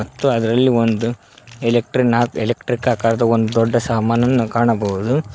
ಮತ್ತು ಅದರಲ್ಲಿ ಒಂದು ಎಲೆಕ್ಟ್ರಿನ್ ಎಲೆಕ್ಟ್ರಿಕ್ ಆಕಾರದ ಒಂದು ದೊಡ್ಡ ಸಾಮಾನನ್ನು ಕಾಣಬಹುದು.